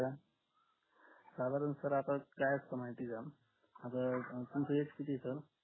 साधारण तर आता काय असतं माहितीये का आता तुमच age किती येतं